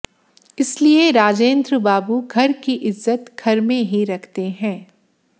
इसलिए राजेंद्र बाबू घर की इज्जत घर में ही रखते हैं